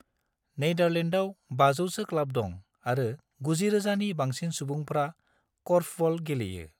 नेदारलेण्डआव 500 सो क्लाब दं आरो 90,000 नि बांसिन सुबुंफ्रा क'र्फबल गेलेयो।